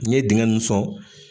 N ye dingɛ ninnu sɔn.